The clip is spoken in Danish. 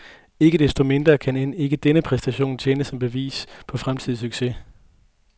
Ikke desto mindre kan end ikke denne præstation tjene som bevis på fremtidig succes.